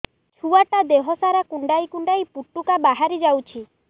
ଛୁଆ ଟା ଦେହ ସାରା କୁଣ୍ଡାଇ କୁଣ୍ଡାଇ ପୁଟୁକା ବାହାରି ଯାଉଛି